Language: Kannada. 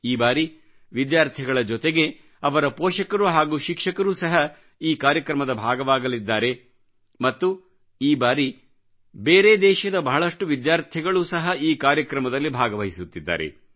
ಈ ಬಾರಿ ವಿದ್ಯಾರ್ಥಿಗಳ ಜೊತೆಗೆ ಅವರ ಪೋಷಕರು ಹಾಗೂ ಶಿಕ್ಷಕರು ಸಹ ಈ ಕಾರ್ಯಕ್ರಮದ ಭಾಗವಾಗಲಿದ್ದಾರೆ ಮತ್ತು ಈ ಬಾರಿ ಬೇರೆ ದೇಶದ ಬಹಳಷ್ಟು ವಿದ್ಯಾರ್ಥಿಗಳೂ ಸಹ ಈ ಕಾರ್ಯಕ್ರಮದಲ್ಲಿ ಭಾಗವಹಿಸುತ್ತಿದ್ದಾರೆ